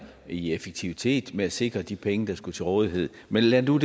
i effektivitet med at sikre de penge der skulle være til rådighed men lad det nu